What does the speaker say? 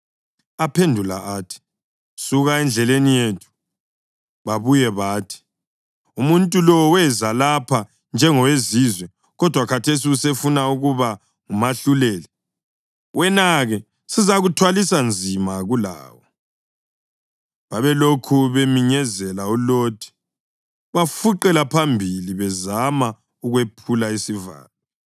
Aphendula athi, “Suka endleleni yethu.” Babuye bathi, “Umuntu lo weza lapha njengowezizwe, kodwa khathesi usefuna ukuba ngumahluleli! Wena-ke sizakuthwalisa nzima kulawo.” Babelokhu beminyezela uLothi, bafuqela phambili bezama ukwephula isivalo.